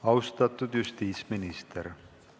Austatud justiitsminister!